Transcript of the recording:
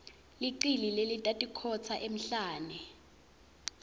licili lelatikhotsa emhlane